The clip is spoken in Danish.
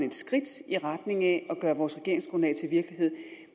et skridt i retning af at gøre vores regeringsgrundlag til virkelighed